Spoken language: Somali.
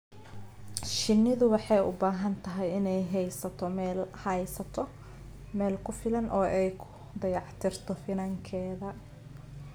Shinnidu waxay u baahan tahay inay haysato meelo ku filan oo ay ku dayactirto finankeeda.